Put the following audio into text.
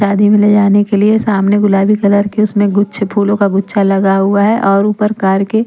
शादी में ले जाने के लिए सामने गुलाबी कलर के उसमें गुच्छे फूलों का गुच्छा लगा हुआ है और ऊपर कार के--